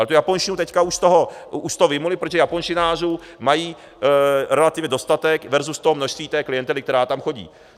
Ale tu japonštinu teď už z toho vyjmuli, protože japonštinářů mají relativně dostatek versus toho množství té klientely, která tam chodí.